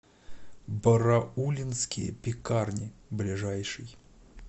бараулинские пекарни ближайший